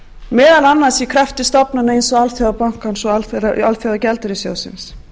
meðal annars í krafti stofnana eins og alþjóðabankans og alþjóðagjaldeyrissjóðsins